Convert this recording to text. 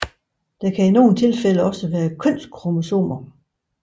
Der kan i nogle tilfælde også være kønskromosomer